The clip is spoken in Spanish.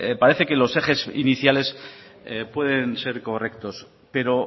parece que los ejes iniciales pueden ser correctos pero